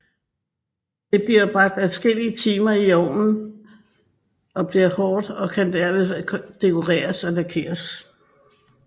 Det bliver bagt adskillige timer i ovnen og bliver hårdt og kan derved dekoreres og lakkes